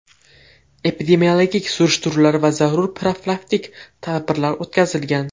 Epidemiologik surishtiruvlar va zarur profilaktik tadbirlar o‘tkazilgan.